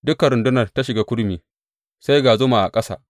Dukan rundunar ta shiga kurmi, sai ga zuma a ƙasa.